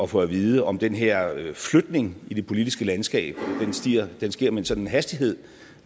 få at vide om den her flytning i det politiske landskab sker med en sådan hastighed